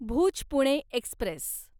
Bhuj Pune Express